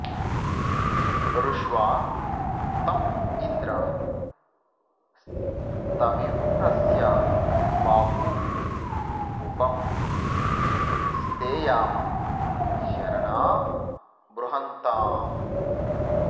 ऋ॒ष्वा त॑ इन्द्र॒ स्थवि॑रस्य बा॒हू उप॑ स्थेयाम शर॒णा बृ॒हन्ता॑